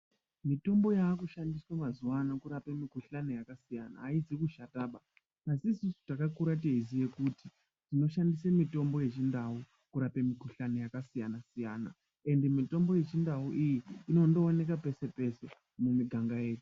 Mitombo yaakushandiswa mazuwa ano kurapwa mikuhlani yakasiyana-siyana aizikushataba, asi isusu takakura teiziye kuti tinoshandise mitombo yechindau kurape mikuhlani yakasiyana-siyana ende mitombo yechindau iyi inondooneka pese pese mumiganga yedu